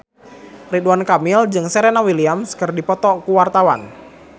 Ridwan Kamil jeung Serena Williams keur dipoto ku wartawan